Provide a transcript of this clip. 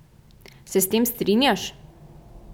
Se s tem strinjaš?